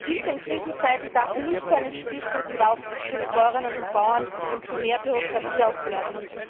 Die Hilfe in Krisenzeiten darf nicht zu einem Spießrutenlauf für die Bäuerinnen und Bauern und zu mehr Bürokratie werden.